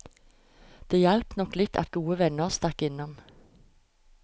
Det hjalp nok litt at gode venner stakk innom.